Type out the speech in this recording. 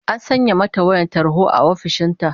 An sanya mata wayar tarho a ofishin ta